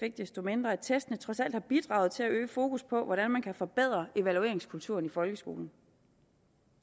ikke desto mindre at testene trods alt har bidraget til at øge fokus på hvordan man kan forbedre evalueringskulturen i folkeskolen